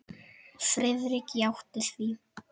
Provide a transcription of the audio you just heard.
Friðrik játti því.